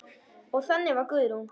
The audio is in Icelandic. Og þannig var Guðrún.